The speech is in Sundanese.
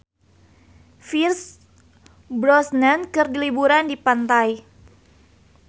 Pierce Brosnan keur liburan di pantai